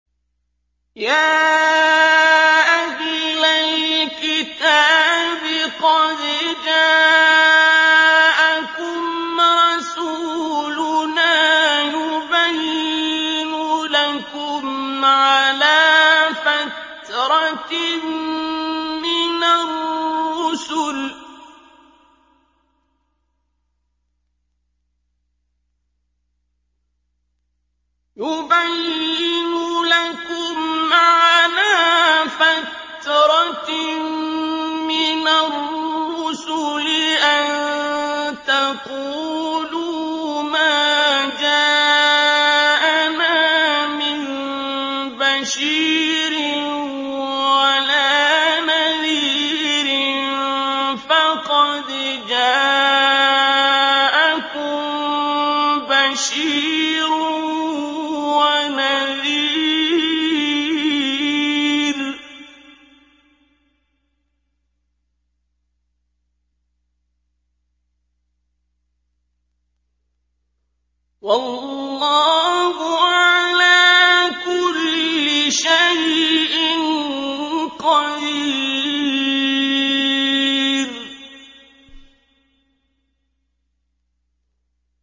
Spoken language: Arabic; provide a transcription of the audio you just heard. يَا أَهْلَ الْكِتَابِ قَدْ جَاءَكُمْ رَسُولُنَا يُبَيِّنُ لَكُمْ عَلَىٰ فَتْرَةٍ مِّنَ الرُّسُلِ أَن تَقُولُوا مَا جَاءَنَا مِن بَشِيرٍ وَلَا نَذِيرٍ ۖ فَقَدْ جَاءَكُم بَشِيرٌ وَنَذِيرٌ ۗ وَاللَّهُ عَلَىٰ كُلِّ شَيْءٍ قَدِيرٌ